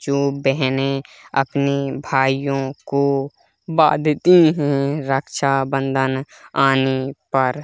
जो बहने अपने भाईयों को बांधती है रक्षाबंधन आने पर--